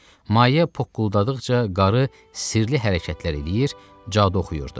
Maye pokquldadıqca qarı sirli hərəkətlər eləyir, cadu oxuyurdu.